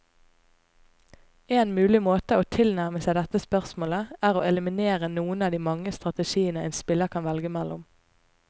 En mulig måte å tilnærme seg dette spørsmålet, er å eliminere noen av de mange strategiene en spiller kan velge mellom.